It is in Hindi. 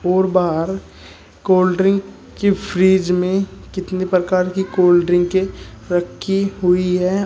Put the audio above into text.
और बाहर कोल्ड ड्रिंक की फ्रिज में कितनी प्रकार की कोल्ड ड्रिंकें रखी हुई हैं।